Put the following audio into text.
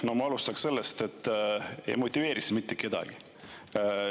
No ma alustaks sellest, et ei motiveeri see mitte kedagi.